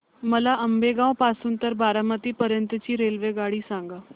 मला आंबेगाव पासून तर बारामती पर्यंत ची रेल्वेगाडी सांगा